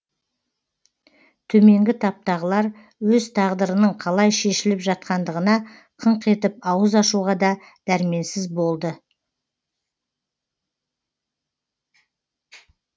төменгі таптағылар өз тағдырының қалай шешіліп жатқандығына қыңқ етіп ауыз ашуға да дәрменсіз болды